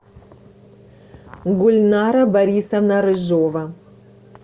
гульнара борисовна рыжова